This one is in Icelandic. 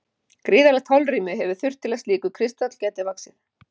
Gríðarlegt holrými hefur þurft til að slíkur kristall gæti vaxið.